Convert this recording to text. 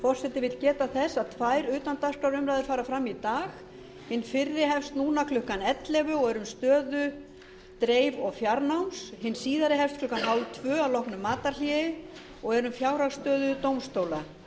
forseti vill geta þess að tvær utandagskrárumræður fara fram í dag hin fyrri hefst klukkan ellefu og er um stöðu dreif og fjarnáms hin síðari hefst klukkan þrettán þrjátíu að loknu matarhléi og er um fjárhagsstöðu dómstóla